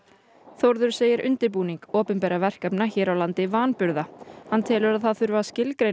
Þórður segir undirbúning opinberra verkefna hér á landi vanburða hann telur að það þurfi að skilgreina